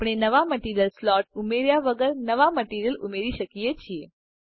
આપણે નવા material slot ઉમેર્યા વગર નવા મટીરીઅલ ઉમેરી શકીએ છે